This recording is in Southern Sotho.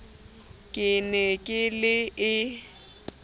ke ne ke le e